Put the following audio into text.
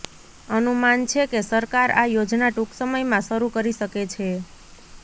અનુમાન છે કે સરકાર આ યોજના ટૂંક સમયમાં શરૂ કરી શકે છે